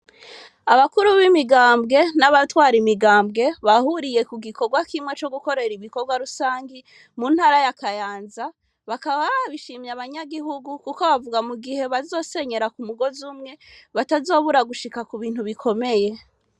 Abakuru b'imigambwe n'abatwara imigambwe bahuriye kugikorwa kimwe co gukorera ibikorwa rusangi muntara ya Kayanza. Bakaba bashimye abanyagihugu kuko bavuga mugihe bazosenyera k'umugoz'umwe batazobura gushika kubintu bikomeye.